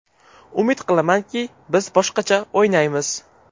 Umid qilamanki, biz boshqacha o‘ynaymiz.